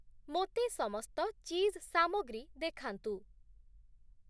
ମୋତେ ସମସ୍ତ ଚିଜ୍ ସାମଗ୍ରୀ ଦେଖାନ୍ତୁ ।